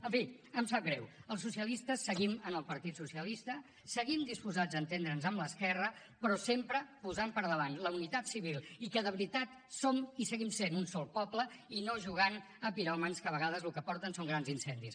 en fi em sap greu els socialistes seguim al partit socialista seguim disposats a entendre’ns amb l’esquerra però sempre posant per davant la unitat civil i que de veritat som i seguint sent un sol poble i no jugant a piròmans que a vegades el que porten són grans incendis